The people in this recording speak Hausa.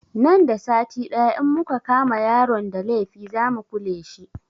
Nan da sati ɗaya in muka kama yaron da laifi za mu kule shi